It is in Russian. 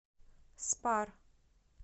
спар